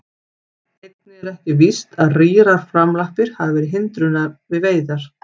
Einnig er ekki víst að rýrar framlappir hafi verið hindrun við veiðar.